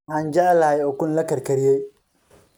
Waxaan jeclahay ukun la karkariyey